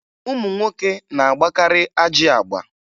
Ụmụ nwoke na-agbakarị ajị agba